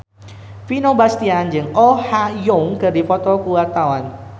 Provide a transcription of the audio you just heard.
Vino Bastian jeung Oh Ha Young keur dipoto ku wartawan